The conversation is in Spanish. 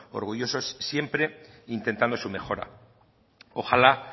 orgullosos siempre e intentando su mejora ojalá